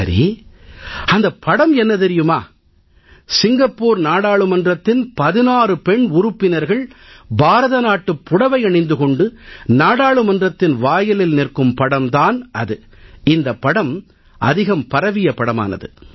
சரி அந்தப் படம் என்ன தெரியுமா சிங்கப்பூர் நாடாளுமன்றத்தின் 16 பெண் உறுப்பினர்கள் பாரத நாட்டுப் புடவை அணிந்து கொண்டு நாடாளுமன்றத்தின் வாயிலில் நிற்கும் படம் தான் அது இந்தப் படம் அதிகம் பரவிய படமானது